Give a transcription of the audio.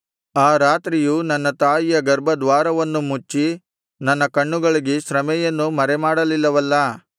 ಆ ರಾತ್ರಿಯು ನನ್ನ ತಾಯಿಯ ಗರ್ಭದ್ವಾರವನ್ನು ಮುಚ್ಚಿ ನನ್ನ ಕಣ್ಣುಗಳಿಗೆ ಶ್ರಮೆಯನ್ನು ಮರೆಮಾಡಲಿಲ್ಲವಲ್ಲಾ